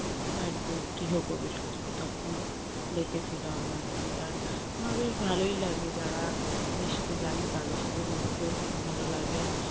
বাড়িতে গৃহপ্রবেশ হয়েছিল তখনও ডেকেছিল আমাকে আর আমার বেশ ভালোই লাগে যারা মিশতে জানে তাদের সাথে মিশতে খুব ভালো লাগে।